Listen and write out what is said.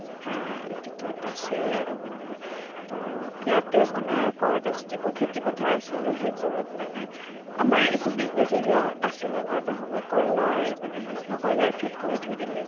হা এইতো টো এটা আছেই আৰু মানে ত ইয়াতে মানে কৰে তাৰ পিছত যিবোৰ খেতি পথাৰ আছিলে, সেইবোৰত মানে আমাৰ এইটো business area হ আছিলে ন এটা সময়ত । কয়্লাৰ মানে সি আছিলে, কয়্লাৰ field কৰি থৈ দিল